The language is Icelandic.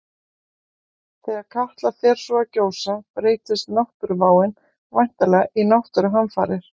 Þegar Katla svo fer að gjósa breytist náttúruváin væntanlega í náttúruhamfarir.